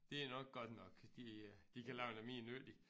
Det er nok godt nok de øh de kan lave noget mere nyttigt